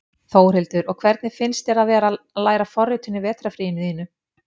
Þórhildur: Og hvernig finnst þér að vera að læra forritun í vetrarfríinu þínu?